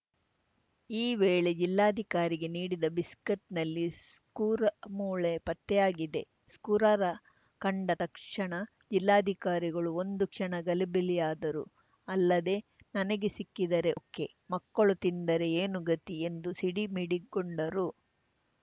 ಈ ವೇಳೆ ಜಿಲ್ಲಾಧಿಕಾರಿಗೆ ನೀಡಿದ ಬಿಸ್ಕತ್‌ನಲ್ಲಿ ಸ್ಕೂರಮೊಳೆ ಪತ್ತೆಯಾಗಿದೆ ಸ್ಕೂರ ಕಂಡ ತಕ್ಷಣ ಜಿಲ್ಲಾಧಿಕಾರಿಗಳು ಒಂದು ಕ್ಷಣ ಗಲಿಬಿಲಿಯಾದರು ಅಲ್ಲದೆ ನನಗೆ ಸಿಕ್ಕಿದರೆ ಓಕೆ ಮಕ್ಕಳು ತಿಂದರೆ ಏನು ಗತಿ ಎಂದು ಸಿಡಿಮಿಡಿಗೊಂಡರು